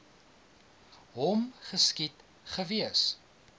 hom geskiet gewees